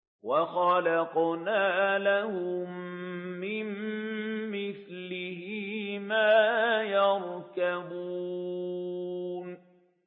وَخَلَقْنَا لَهُم مِّن مِّثْلِهِ مَا يَرْكَبُونَ